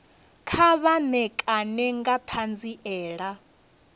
kha vha ṋekane nga ṱhanziela